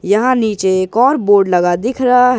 यहां नीचे एक और बोर्ड लगा दिख रहा है।